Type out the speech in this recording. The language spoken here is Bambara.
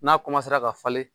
N'a ka falen